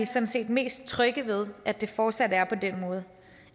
sådan set mest trygge ved at det fortsat er på den måde